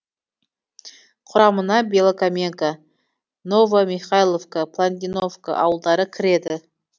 құрамына белокаменка новомихайловка планидовка ауылдары кіреді